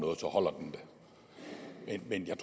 ikke en